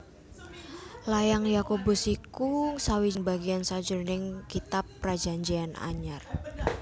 Layang Yakobus iku sawijining bagéan sajroning Kitab Prajanjéyan Anyar